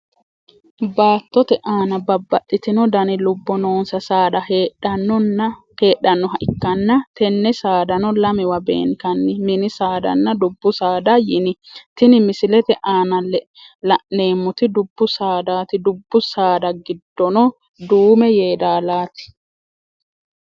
Baattote aanna babbaxitino danni lobo noonsa saada heedhanoha ikanna tenne saadano lamewa benkanni minni saadanna dubu saada yinni tinni misilete aanna la'neemoti dubu saadaati dubu saada gidono duume yeedaalaati.